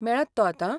मेळत तो आतां?